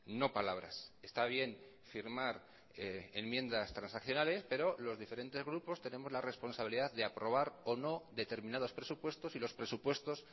no palabras está bien firmar enmiendas transaccionales pero los diferentes grupos tenemos la responsabilidad de aprobar o no determinados presupuestos y los presupuestos